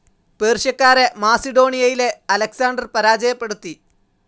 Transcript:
പേർഷ്യക്കാരെ മാസിഡോണിയയിലെ അലക്‌സാണ്ടർ പരാജയപ്പെടുത്തി.